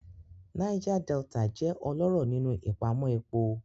Niger Delta jẹ́ ọlọ́rọ̀ nínú ìpamọ́ epo.